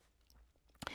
DR2